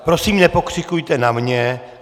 Prosím nepokřikujte na mě.